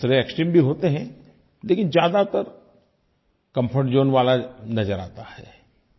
कुछ एक्सट्रीम भी होते हैं लेकिन ज़्यादातर कम्फर्ट ज़ोन वाला नज़र आता है